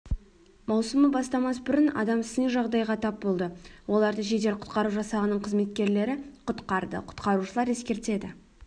маусымы бастамас бұрын адам сыни жағдайға тап болды оларды жедел-құтқару жасағының қызметкерлері құтқарды құтқарушылар ескертеді